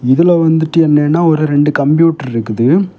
இதுல வந்துட்டு என்னன்னா ஒரு ரெண்டு கம்ப்யூட்டர் இருக்குது.